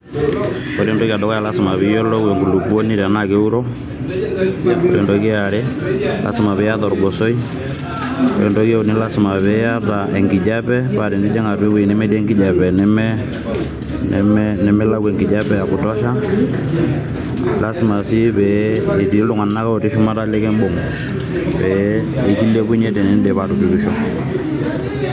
Ore entoki e dukuya naa lasima piyiolou enkulupuoni tenaa keuro. Ore entoki eare lasima piata orgosoi. Ore entoki euni lasima piata enkijape paa tenijing atua ewueji nemetii enkijape neme nemilau enkijape ekutosha . Lasima sii petii iltunganak shumata likimbung pee kilepunye tenidip atuturisho